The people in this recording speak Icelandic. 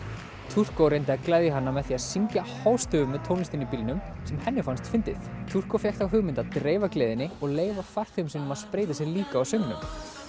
turko reyndi að gleðja hana með því að syngja hástöfum með tónlistinni í bílnum sem henni fannst fyndið turko fékk þá hugmynd að dreifa gleðinni og leyfa farþegum sínum að spreyta sig líka á söngnum